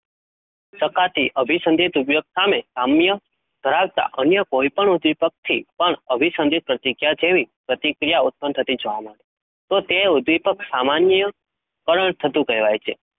શકાતી અભિસંધિત ઉપયોગ સામે સામ્ય ધરાવતા અન્ય કોઈપણ ઉદ્દીપકથી પણ અભિસંધિત પ્રતિક્રિયા જેવી પ્રતિક્રિયા ઉત્પન્ન થતી જોવા મળે તો તે ઉદ્દીપક સામાન્યકરણ થતું કહેવાય છે.